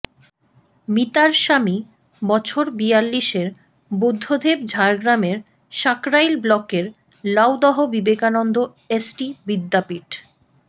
মিতার স্বামী বছর বিয়াল্লিশের বুদ্ধদেব ঝাড়গ্রামের সাঁকরাইল ব্লকের লাউদহ বিবেকানন্দ এসটি বিদ্যাপীঠ